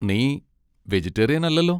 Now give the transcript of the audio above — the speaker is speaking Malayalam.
നീ വെജിറ്റേറിയൻ അല്ലല്ലോ?